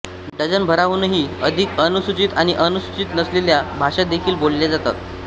डझनभराहूनही अधिक अनुसूचित आणि अनुसूचित नसलेल्या भाषा देखील बोलल्या जातात